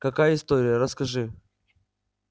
какая история расскажи